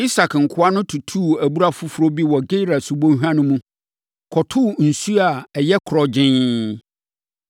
Isak nkoa no tuu abura foforɔ bi wɔ Gerar subɔnhwa no mu, kɔtoo nsuo a ɛyɛ korɔgyenn.